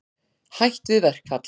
Hætt við verkfall